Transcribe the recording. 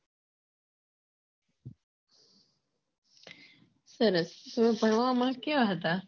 સરસ તમે ભણવામાં કેવા હતા